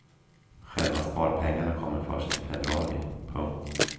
Själva sparpengarna kommer först i februari. punkt